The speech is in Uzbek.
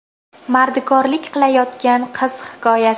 Mardikorlik qilayotgan qiz hikoyasi.